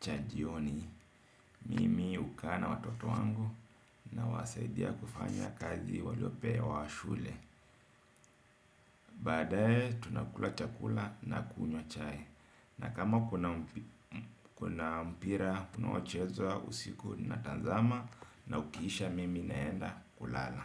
cha jioni. Mimi hukaa na watoto wangu nawasaidia kufanya kazi waliopewa shule. Baadae tunakula chakula na kunywa chai. Na kama kuna mpira, kunaochezwa usiku natazama na ukiisha mimi naenda kulala.